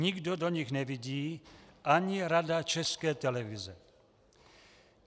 Nikdo do nich nevidí, ani Rada České televize.